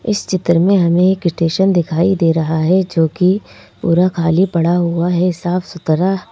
इस चित्र में हमें एक स्टेशन दिखाई दे रहा है जोकि पूरा खाली पड़ा हुआ है साफ-सुथरा--